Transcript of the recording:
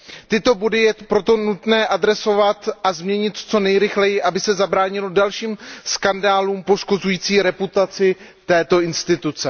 Tyto body je proto nutné řešit a změnit co nejrychleji, aby se zabránilo dalším skandálům poškozujícím reputaci tohoto orgánu.